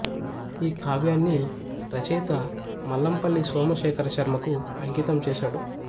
ఈ కావ్యాన్ని రచయిత మల్లంపల్లి సోమశేఖరశర్మ కు అంకితం చేసాడు